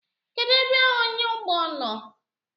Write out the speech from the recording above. Kedụ ebe ọnyáụgbọ nọ?